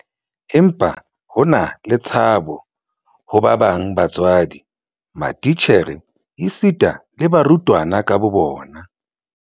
Empa ho na le tshabo ho ba bang ba batswadi, matitjhere esita le barutwana ka bobona.